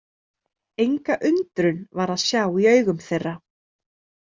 Enga undrun var að sjá í augum þeirra.